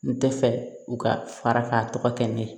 N tɛ fɛ u ka fara ka tɔgɔ kɛ ne ye